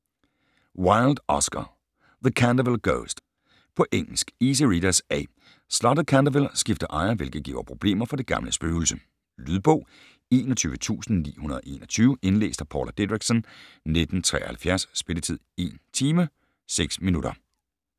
Wilde, Oscar: The Canterville ghost På engelsk. Easy readers, A. Slottet Canterville skifter ejer, hvilket giver problemer for det gamle spøgelse. Lydbog 21921 Indlæst af Paula Dideriksen, 1973. Spilletid: 1 timer, 6 minutter.